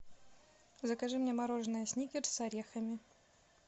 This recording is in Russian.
закажи мне мороженое сникерс с орехами